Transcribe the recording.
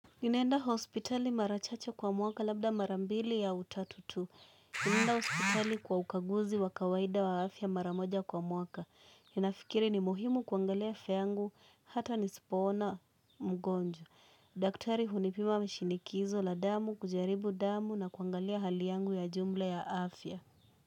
Ninaenda hospitali mara chache kwa mwaka labda mara mbili ya autatu tu. Ninaenda hospitali kwa ukaguzi wa kawaida wa afya mara moja kwa mwaka. Nafikiri ni muhimu kuangalia afya yangu hata nisipoona mgonjwa. Daktari hunipima mshinikizo la damu, kujaribu damu na kuangalia hali yangu ya jumla ya afya.